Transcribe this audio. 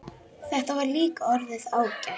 Þetta var líka orðið ágætt.